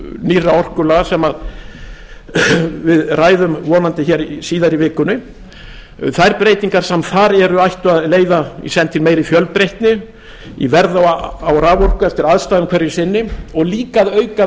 nýrra orkulaga sem við ræðum vonandi síðar í vikunni þær breytingar sem þar eru ættu að leiða í senn til meiri fjölbreytni í verði á raforku eftir aðstæðum hverju sinni og líka að auka